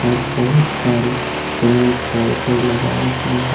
और बहुत सारे पेड़ पौधे लगाए गए हैं।